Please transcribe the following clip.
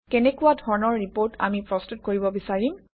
কেনেকুৱা ধৰণৰ ৰিপৰ্ট আমি প্ৰস্তুত কৰিব বিচাৰিম